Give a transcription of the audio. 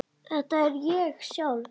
Þetta er ég sjálf.